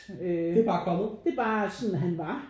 Øh det er bare sådan han var